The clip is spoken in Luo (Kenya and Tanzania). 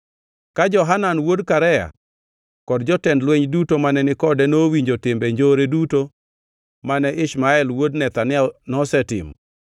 Ka Johanan wuod Karea kod jotend lweny duto mane ni kode nowinjo timbe njore duto mane Ishmael wuod Nethania nosetimo,